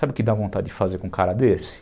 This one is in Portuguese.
Sabe o que dá vontade de fazer com um cara desse?